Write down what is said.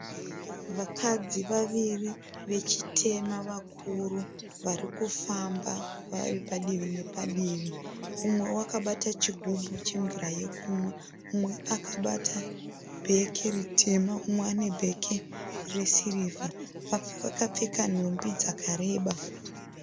Vakadzi vaviri vechitema vakuru varikufamba vari padivi nepadivi. Mumwewo akabata chigumbu chemvura yekumwa. Umwe akabata bhegi ritema , úmwe ane bhegi resirivha. Vakapfeka nhumbi dzakareba.